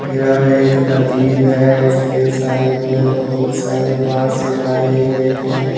यह एक नदी है इसके साइड में बहुत सारे बास लगाए गए हैं।